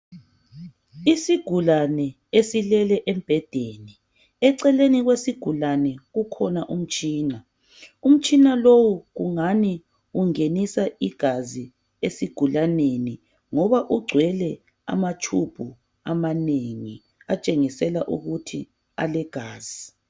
Isigulane esilele embhedeni ,eceleni kwesigulane kukhona umtshina ,umtshina lowu kungani ungenisa igazi esigulaneni ngoba ugcwele amatshubhu amanengi atshengisela ukuthi alegazi .